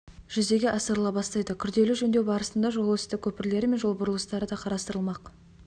жылы жүзеге асырыла бастайды күрделі жөндеу барысында жол үсті көпірлері мен жол бұрылыстары да қарастырылмақ